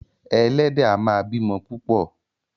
Ẹlẹ́dẹ̀ a máa bímọ púpò.